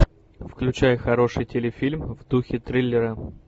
включай хороший телефильм в духе триллера